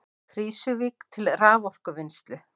Krýsuvík til raforkuvinnslu.